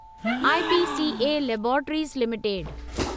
IPCA laboratories limited